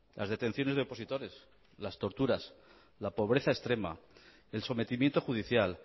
las detenciones de opositores las torturas la pobreza extrema el sometimiento judicial